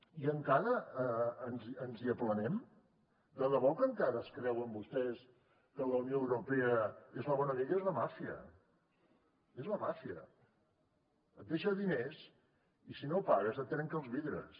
i encara ens hi aplanem de debò que encara es creuen vostès que la unió europea és la bona amiga és la màfia és la màfia et deixa diners i si no pagues et trenca els vidres